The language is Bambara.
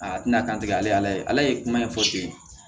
A tɛna dantigɛ ale ye ala ye kuma in fɔ ten